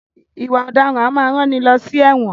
Ìwà ọ̀daràn a máa rán ni lọ sí ẹ̀wọ̀n.